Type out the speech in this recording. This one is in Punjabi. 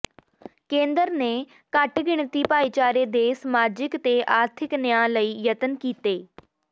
ਕੇਂਦਰ ਨੇ ਘੱਟ ਗਿਣਤੀ ਭਾਈਚਾਰੇ ਦੇ ਸਮਾਜਿਕ ਤੇ ਆਰਥਿਕ ਨਿਆਂ ਲਈ ਯਤਨ ਕੀਤੇ